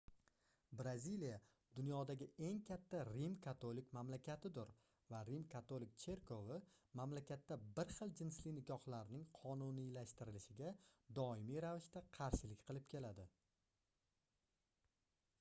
braziliya dunyodagi eng katta rim-katolik mamlakatidir va rim-katolik cherkovi mamlakatda bir xil jinsli nikohlarning qonuniylashtirilishiga doimiy ravishda qarshilik qilib keladi